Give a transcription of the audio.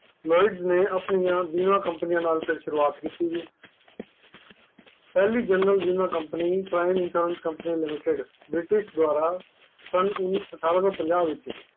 Lloyd ਨੇ ਫਿਰ ਆਪਣੀ ਬੀਮਾ companies ਨਾਲ ਸ਼ੁਰੂਵਾਤ ਕੀਤੀ, ਪਹਿਲੀ ਜਨਰਲ ਬੀਮਾ companyPrime insurance company limited ਠਾਰਾਂ ਸੋ ਪੰਝਾਂ ਵਿੱਚ